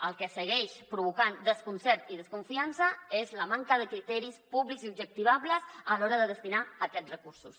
el que segueix provocant desconcert i desconfiança és la manca de criteris pú·blics i objectivables a l’hora de destinar aquests recursos